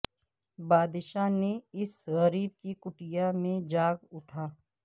بادشاہ نے اس غریب کی کٹیا میں جاگ اٹھا